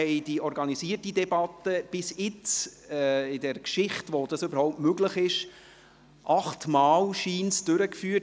Die organisierte Debatte führten wir bisher, seit dies überhaupt möglich ist, offenbar achtmal durch.